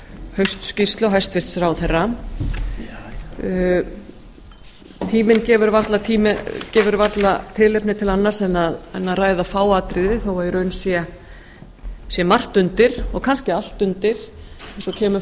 haustskýrslu hæstvirtur ráðherra tíminn gefur varla tilefni til annars en að ræða fá atriði þó í raun sé margt undir og kannski allt undir eins og kemur